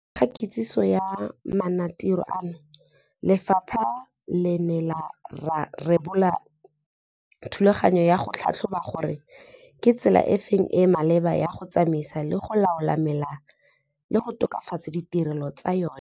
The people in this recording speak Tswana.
Pele ga kitsiso ya maanotiro ano, lefapha le ne la rebola thulaganyo ya go tlhatlhoba gore ke tsela efe e e maleba ya go tsamaisa le go laola mela le go tokafatsa ditirelo tsa yona.